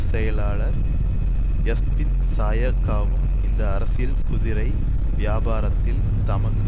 செயலாளர் எஸ்பிந்த்சாயக்காவும் இந்த அரசியல் குதிரை வியாபாரத்தில் தமக்கு